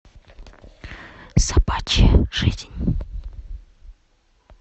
собачья жизнь